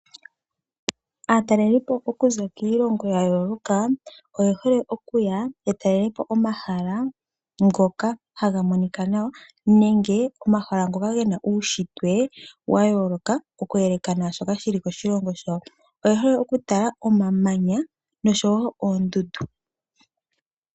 Aatalelipo okuza kiilongo ya yooloka oye hole okuya ya talelepo omahala ngoka haga monika nawa, nenge omahala ngoka gena uushitwe wa yooloka, oku yeleka naashoka shili koshilongo shawo. Oye hole okutala omamanya noshowo oondundu.